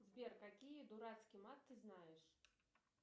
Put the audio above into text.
сбер какие дурацкий мат ты знаешь